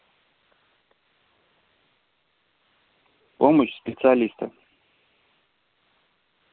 помощь специалиста